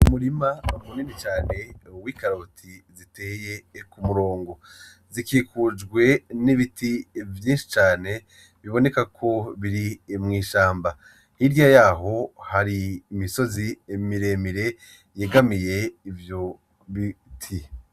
Umurima munini cane wikaroti ziteye kumurongo zikukujwe nibiti vyinshi cane biboneka ko biri mwishamba hirya yaho hari imisozi miremire yegamiye ivyo biti.